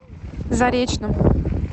заречном